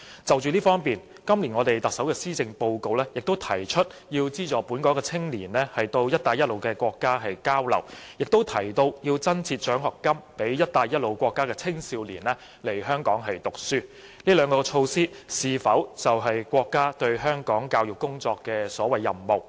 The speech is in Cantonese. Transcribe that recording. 就此方面，特首今年的施政報告亦提出要資助本港青年到"一帶一路"的國家交流，亦提到要增設獎學金予"一帶一路"國家的青少年來港讀書，這兩項措施是否就是國家對香港教育工作所謂的"任務"？